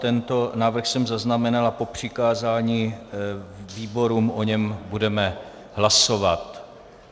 Tento návrh jsem zaznamenal a po přikázání výborům o něm budeme hlasovat.